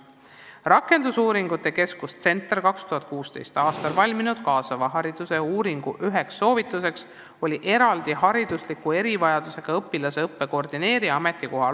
Rakendusuuringute keskuse CentAR 2016. aastal valminud kaasava hariduse uuringu üks soovitus oli luua suurtes koolides haridusliku erivajadusega õpilaste õppe koordinaatori ametikoht.